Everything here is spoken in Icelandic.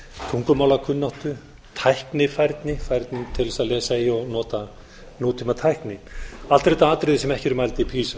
tungumálakunnáttu tækifæri til þess að lesa í og nota tíma tækni allt eru þetta atriði sem ekki eru mæld í pisa